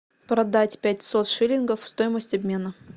продать пятьсот шиллингов стоимость обмена